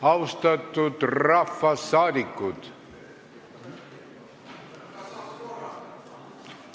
Austatud rahvasaadikud!